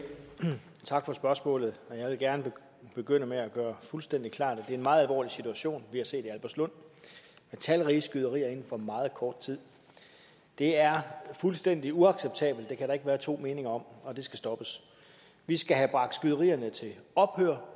og tak for spørgsmålet jeg vil gerne begynde med at gøre fuldstændig klart at det er en meget alvorlig situation vi har set i albertslund med talrige skyderier inden for meget kort tid det er fuldstændig uacceptabelt det kan der ikke være to meninger om og det skal stoppes vi skal have bragt skyderierne til ophør